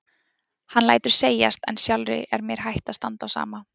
Hann lætur segjast en sjálfri er mér hætt að standa á sama.